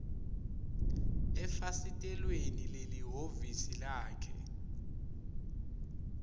efasitelweni lelihhovisi lakhe